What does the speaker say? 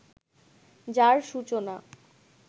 যার সূচনা